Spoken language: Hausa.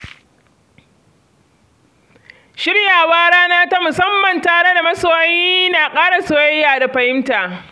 Shirya wa rana ta musamman tare da masoyi na ƙara soyayya da fahimta.